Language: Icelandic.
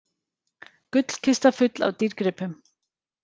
Gullkista full af dýrgripum